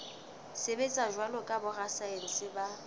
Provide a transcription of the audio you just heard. sebetsa jwalo ka borasaense ba